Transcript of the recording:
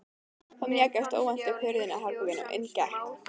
Þá mjakaðist óvænt upp hurðin að herberginu og inn gekk